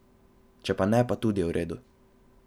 Če pa ne, pa tudi v redu.